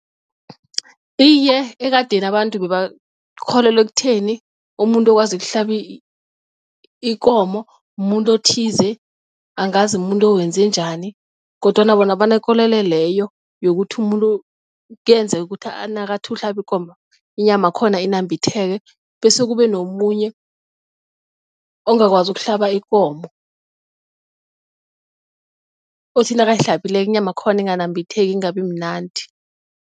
Iye, ekadeni abantu bebakholelwa ekutheni umuntu okwazi ukuhlaba ikomo mumuntu othize, angazi mumuntu owenze njani kodwana bona banekolelo leyo yokuthi umuntu kuyenzeka ukuthi nakathi uhlaba ikomo inyama yakhona inambitheke bese kube nomunye ongakwazi ukuhlaba ikomo othi nakahlabileko inyama yakhona inganambitheki ingabi mnandi.